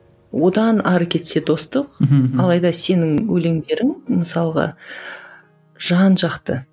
одан әрі кетсе достық мхм алайда сенің өлеңдерің мысалға жан жақты